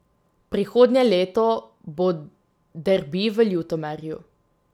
Prihodnje leto bo derbi v Ljutomeru.